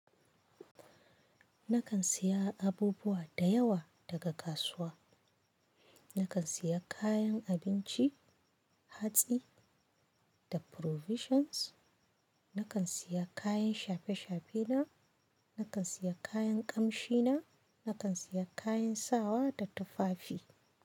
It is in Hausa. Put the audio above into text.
Nakan siya abubuwa da yawa daga kasuwa. Nakan siya kayan abinci hatsi da provisions. Nakan siya kayan shafe-shafe na. Nakan siya kayan kamshi na. Nakan siya kayan sawa da tufafi.